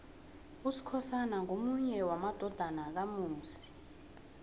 usikhosana ngomunye wamadodana kamusi